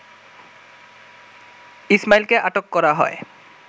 ইসমাঈলকে আটক করা হয়